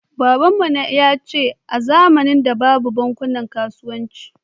Kakanmu yace a zamanin da babu bankunan kasuwanci